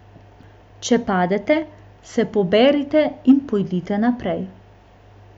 Če padete, se poberite in pojdite naprej.